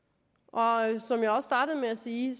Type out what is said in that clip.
meget gerne som jeg også startede med at sige